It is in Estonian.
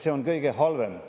See on kõige halvem.